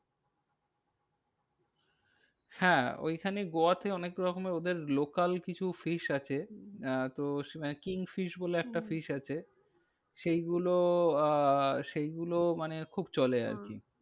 হ্যাঁ ওইখানেই গোয়াতে অনেক রকমের ওদের local কিছু fish আছে। আহ তো সেখানে king fish বলে হম একটা fish আছে। সেইগুলো আহ সেইগুলো মানে খুব চলে আরকি। হ্যাঁ